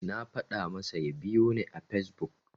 Na faɗa masa ya biyoni a Fesbuk.